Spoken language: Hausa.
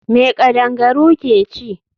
Me kadangaru ke ci?